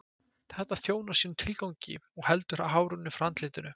Þetta þjónar sínum tilgangi og heldur hárinu frá andlitinu.